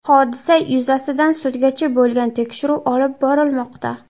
Hodisa yuzasidan sudgacha bo‘lgan tekshiruv olib borilmoqda.